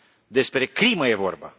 Despre crimă este vorba.